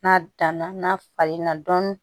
N'a danna n'a falenna dɔɔnin